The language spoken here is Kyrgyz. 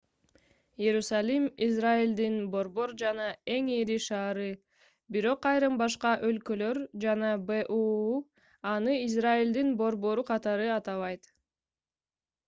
иерусалим израилдин борбор жана эң ири шаары бирок айрым башка өлкөлөр жана буу аны израилдин борбору катары атабайт